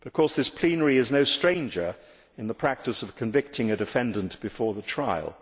This plenary is no stranger to the practice of convicting a defendant before the trial.